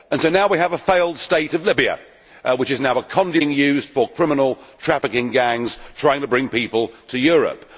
So now we have a failed state of Libya, which is now a conduit being used for criminal trafficking gangs trying to bring people to Europe.